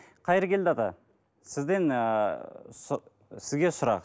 қайыргелді ата сізден ыыы сізге сұрақ